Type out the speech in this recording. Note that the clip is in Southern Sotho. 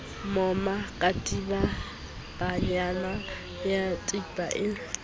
moma katibanyana ya kepa e